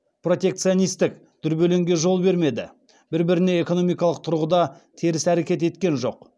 протекционистік дүрбелеңге жол бермеді бір біріне экономикалық тұрғыда теріс әрекет еткен жоқ